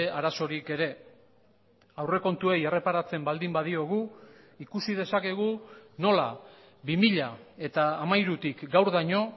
arazorik ere aurrekontuei erreparatzen baldin badiogu ikusi dezakegu nola bi mila hamairutik gaurdaino